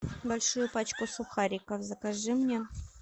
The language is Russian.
большую пачку сухариков закажи мне